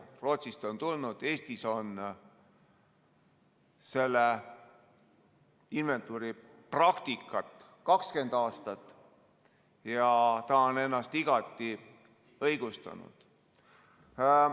Rootsist ta on tulnud, Eestis on selle inventuuri praktikat 20 aastat ja ta on ennast igati õigustanud.